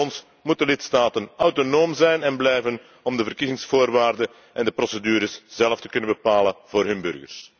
Voor ons moeten lidstaten autonoom zijn en blijven om de verkiezingsvoorwaarden en procedures zelf te kunnen bepalen voor hun burgers.